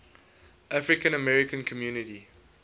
african american community